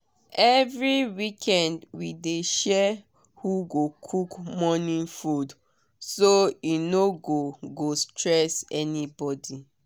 every weekend we dey share who go cook morning food so e no go go stress anybody.